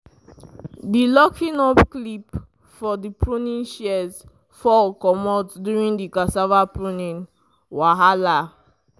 di locking up clip for the pruning shears fall comot during the cassava pruning wahala.